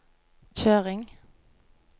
kjøring